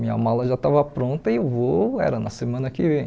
Minha mala já estava pronta e o voo era na semana que vem.